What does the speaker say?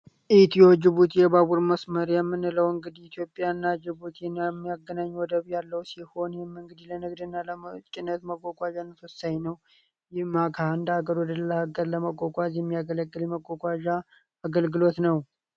ኢቲዮ ጅቡት የባቡር መስመር የምንለው እንግዲ ኢትዮጵያ እና ጅቡት የሚያገናኙ ወደብ ያለው ሲሆን ይህም እንግዲህ ለንግድ እና ለጭነት መጓጓዣ የሚያገለግል ነው ይህም ከእንድ ሀገር ወደ ሌላ ሀገር ለመጓጓዝ የሚያገለግል መጓጓዣ አገልግሎት ነው።